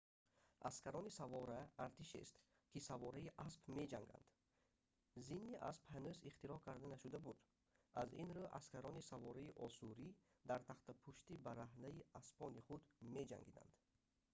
аскарони савора артишест ки савораи асп меҷанганд зини асп ҳанӯз ихтироъ карда нашуда буд аз ин рӯ аскарони савораи осурӣ дар тахтапушти бараҳнаи аспони худ меҷангиданд